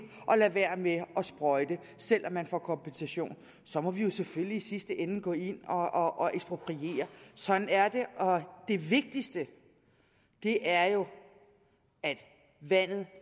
at lade være med at sprøjte selv om man får kompensation så må vi jo selvfølgelig i sidste ende gå ind og ekspropriere sådan er det og det vigtigste er jo at vandet